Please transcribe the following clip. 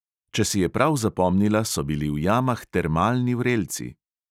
Če si je prav zapomnila, so bili v jamah termalni vrelci.